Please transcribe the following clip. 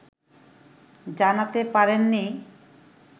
জানাতে পারেননি